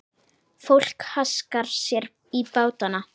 Fólk haskar sér í bátana.